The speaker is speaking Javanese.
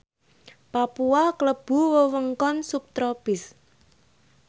Papua klebu wewengkon subtropis